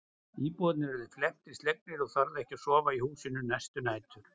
Íbúarnir urðu felmtri slegnir og þorðu ekki að sofa í húsinu næstu nætur.